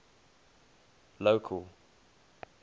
local